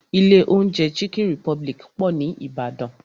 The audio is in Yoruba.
Ilé oúnjẹ chicken republic pọ̀ ní Ìbàdàn.